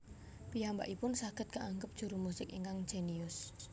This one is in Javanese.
Piyambakipun saged kaangep juru musik ingkang jénius